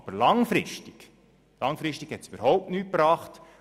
Aber langfristig wird dies überhaupt nichts bringen.